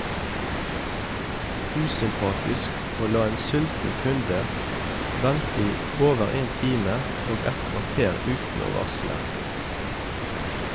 Usympatisk å la en sulten kunde vente i over én time og ett kvarter uten å varsle.